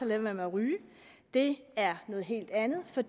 være med at ryge det er noget helt andet for